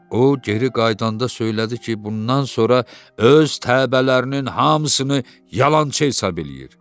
O geri qayıdanda söylədi ki, bundan sonra öz təbələrinin hamısını yalançı hesab eləyir.